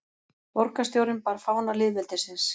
Borgarstjórinn bar fána lýðveldisins